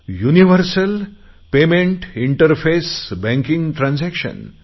universal payment interface banking transaction